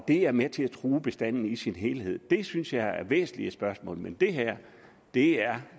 det er med til at true bestanden i sin helhed det synes jeg er væsentlige spørgsmål men det her er